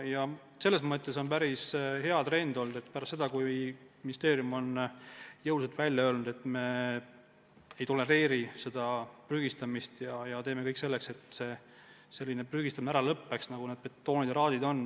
Trend on selles mõttes päris hea olnud, et pärast seda, kui ministeerium on jõuliselt välja öelnud, et me ei tolereeri prügistamist ja teeme kõik, et lõppeks ära selline prügistamine, nagu näiteks betoonijäätmetega on.